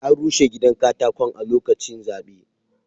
An rushe gidan katakon a lokaci zaɓe.